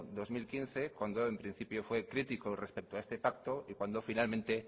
dos mil quince cuando en principio fue crítico respecto a ese pacto y cuando finalmente